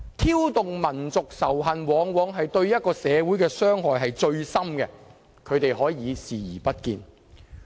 挑動民族仇恨往往對一個社會傷害至深，但他們可以視而不見。